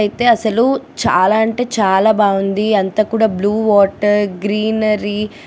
అయితే అసలు చాలా అంటే చాలా బావుంది అంట కూడా బ్లూ వాటర్ గ్రీనరి --